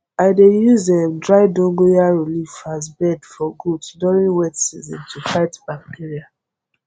i dey use um dry dogonyaro leaf as bed for goat during wet season to fight bacteria